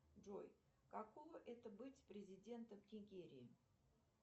джой какого это быть президентом нигерии